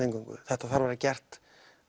þetta þarf að vera gert